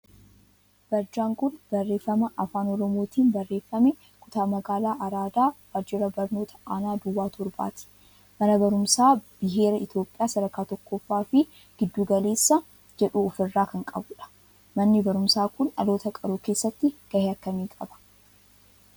barjaan kun barreeffama afaan oromootin barreeffame kutaa magaalaa araadaa waajjira barnoota aanaa 07tti mana barumsaa biheera Itiyophiyaa sad. 1ffaa fi giddu galeessaa jedhu of irraa kan qabudha. manni barumsaa kun dhaloota qaruu keesatti gahee akkamii qaba?